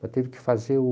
Mas teve que fazer o...